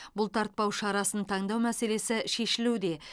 бұлтартпау шарасын таңдау мәселесі шешілуде